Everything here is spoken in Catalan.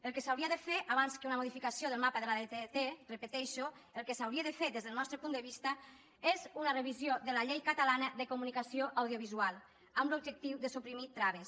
el que s’hauria de fer abans que una modificació del mapa de la tdt ho repeteixo el que s’hauria de fer des del nostre punt de vista és una revisió de la llei catalana de comunicació audiovisual amb l’objectiu de suprimir traves